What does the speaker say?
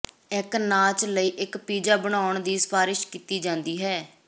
ਇੱਕ ਨਾਚ ਲਈ ਇੱਕ ਪੀਜ਼ਾ ਬਣਾਉਣ ਦੀ ਸਿਫਾਰਸ਼ ਕੀਤੀ ਜਾਂਦੀ ਹੈ